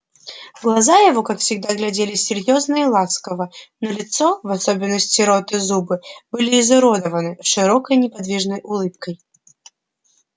глаза его как всегда глядели серьёзно и ласково но лицо в особенности рот и зубы были изуродованы широкой неподвижной улыбкой